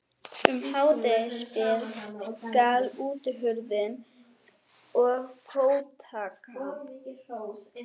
Um hádegisbil skall útihurðin og fótatak